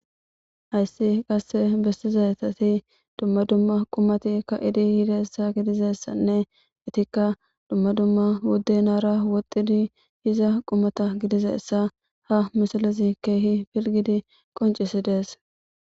hayssi qasse bestizatati dumma dumma qumatikka idi hidaessa gidizessanne itikka dumma dumma budde naara woxxidi hiza qumata gidizessa ha misalezi keehi pilgidi qoncisi dees